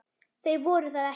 Þau voru það ekki.